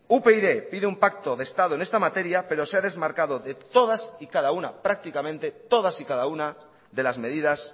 upyd pide un pacto de estado en esta materia pero se ha desmarcado prácticamente de todas y cada de las medidas